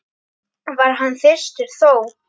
var hann þyrstur þó.